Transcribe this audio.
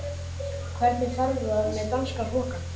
Hvernig fer það með danska hrokann?